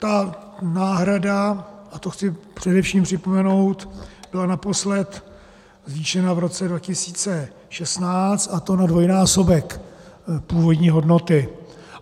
Ta náhrada, a to chci především připomenout, byla naposledy zvýšena v roce 2016, a to na dvojnásobek původní hodnoty.